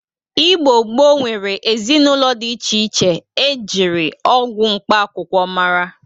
Igbo gboo nwere ezinaụlọ dị iche iche e jiri ọgwọ mkpa akwụkwọ mara.